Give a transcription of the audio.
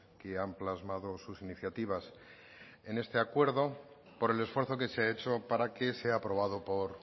que han plasmado sus iniciativas en este acuerdo por el esfuerzo que se ha hecho para que sea aprobado por